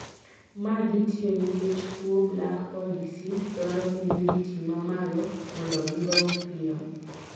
Maa thitiyo nikech tuo black pod diseas dwaro humidity mamalo mondo gidong piyo.